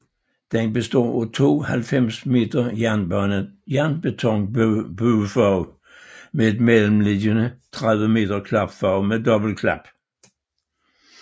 Den består af to 90 m jernbetonbuefag med et mellemliggende 30 m klapfag med dobbeltklap